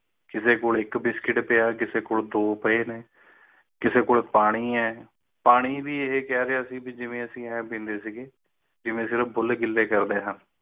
ਕਿਸੀ ਕੋਲ ਇਕ biscuit ਪਾਯਾ ਕਿਸੀ ਕੋਲ ਦੋ ਪਾਈ ਨੇ ਕਿਸੇ ਕੋਲੋਂ ਪਾਣੀਂ ਪਾਣੀਂ ਵੀ ਇਹ ਕਹਿ ਰਿਹਾ ਸੀ ਕਿ ਜਿਵੇਂ ਅਸੀਂ ਬੁੱਲ ਗਿਲੇ ਕਰਦੇ ਆਂ